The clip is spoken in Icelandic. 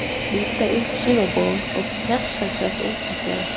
Hann byrjaði að slíta upp sumarblóm og kjassa hvert einstakt þeirra.